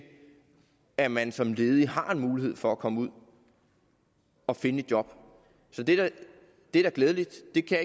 at man som ledig har en mulighed for at komme ud og finde et job det er da glædeligt det kan